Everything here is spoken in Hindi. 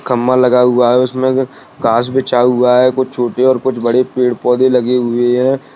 खंबा लगा हुआ है उसमें बिछा हुआ है कुछ छोटे और कुछ बड़े पेड़ पौधे लगे हुए हैं।